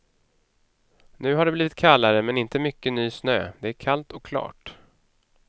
Nu har det blivit kallare men inte mycket ny snö, det är kallt och klart.